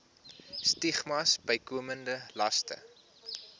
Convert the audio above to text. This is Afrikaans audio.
stigmas bykomende laste